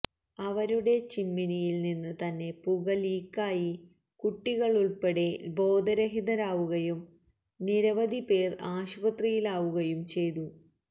അവരുടെ ചിമ്മിനിയില് നിന്ന് തന്നെ പുക ലീക്കായി കുട്ടികളുള്പ്പെടെ ബോധരഹിതരാവുകയും നിരവധി പേര് ആശുപത്രിയിലാവുകയും ചെയ്തു